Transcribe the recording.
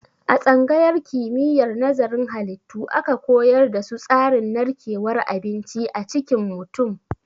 A tsangayar kimiyyar nazarin halittu aka koyar da su tsarin narkewar abinci a cikin mutum.